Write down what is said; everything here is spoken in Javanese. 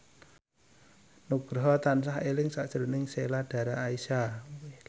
Nugroho tansah eling sakjroning Sheila Dara Aisha